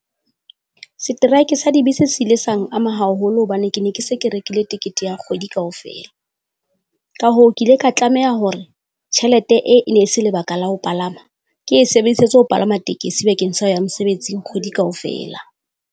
Setraeke sa dibese se ile sang ama haholo hobane ke ne ke se ke rekile tekete ya kgwedi kaofela. Ka hoo, ke ile ka tlameha hore tjhelete ee e ne se lebaka la ho palama, ke e sebedisetse ho palama tekesi bakeng sa ya mosebetsing kgwedi kaofela.